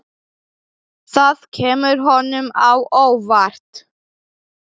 Það kemur honum á óvart.